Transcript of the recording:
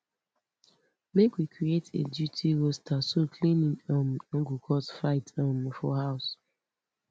make we create a duty roster so cleaning um no go cause fight um for house